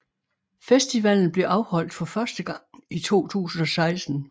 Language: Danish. Festivalen blev afholdt for første gang i 2016